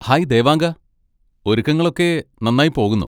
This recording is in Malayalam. ഹായ് ദേവാങ്ക! ഒരുക്കങ്ങൾ ഒക്കെ നന്നായി പോകുന്നു.